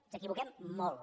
ens equivoquem molt